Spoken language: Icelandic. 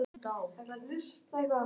Fimm handteknir í Ósló